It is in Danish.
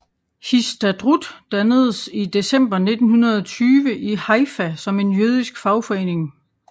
Histadrut dannedes i december 1920 i Haifa som en jødisk fagforening